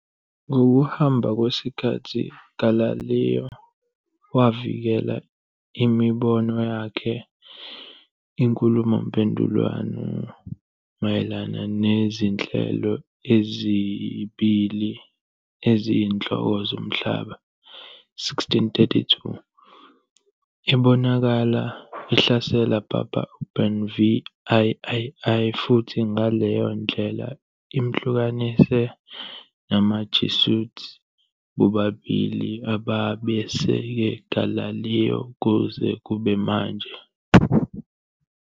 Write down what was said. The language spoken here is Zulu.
Ngokuhamba kwesikhathi Galileo wavikela imibono yakhe "Inkhulumomphendvulwano Mayelana NeziNhlelo Ezibili Eziyinhloko Zomhlaba", 1632, ebonakala ihlasela Papa Urban VIII futhi ngaleyo ndlela imhlukanise namaJesuit, bobabili ababeseke Galileo kuze kube manje.